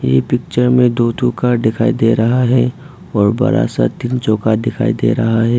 ये पिक्चर में दो ठो कार दिखाई दे रहा है और बड़ा सा तीन चौका दिखाई दे रहा है।